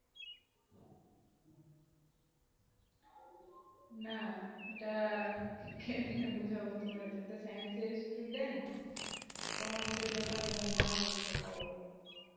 না এইটা কেমনে বোঝাবে তোমাকে তুমি তো science এর student তো commercial ব্যাপার গুলু না বুঝতে পারো না